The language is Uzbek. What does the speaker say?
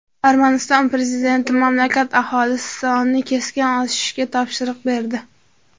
Armaniston prezidenti mamlakat aholisi sonini keskin oshirishga topshiriq berdi.